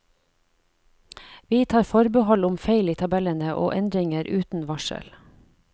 Vi tar forbehold om feil i tabellene og endringer uten varsel.